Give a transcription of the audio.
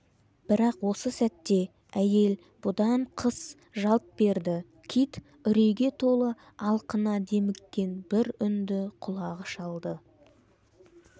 бірақ осы сәтте әйел бұдан қыс жалт берді кит үрейге толы алқына деміккен бір үнді құлағы шалды